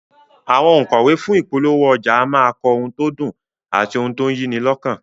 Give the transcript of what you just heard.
Àwọn ònkọ̀wé fún ìpolówó ọjà a máa kọ òun tó dùn àti òun tó yí ni lọ́kàn